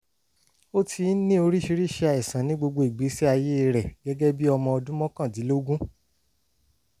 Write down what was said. ó ti ń ní oríṣiríṣi àìsàn ní gbogbo ìgbésí ayé rẹ̀ gẹ́gẹ́ bí ọmọ ọdún mọ́kàndínlógún